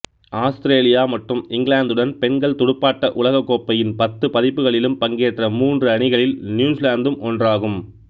Australia மற்றும் இங்கிலாந்துடன் பெண்கள் துடுப்பாட்ட உலகக் கோப்பையின் பத்து பதிப்புகளிலும் பங்கேற்ற மூன்று அணிகளில் நியூசிலாந்தும் ஒன்றாகும்